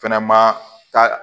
Fɛnɛ ma ka